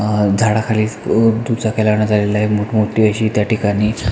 अ झाडा खाली अ दुचाक्या लावण्यात आलेल्या आहे मोठ मोठी अशी त्या ठिकाणी--